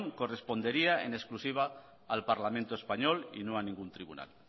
correspondería en exclusiva al parlamento español y no a ningún tribunal